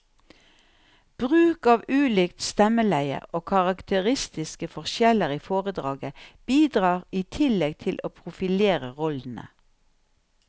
Bruk av ulikt stemmeleie og karakteristiske forskjeller i foredraget bidrar i tillegg til å profilere rollene.